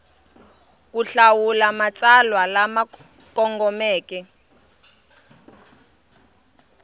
ku hlawula matsalwa lama kongomeke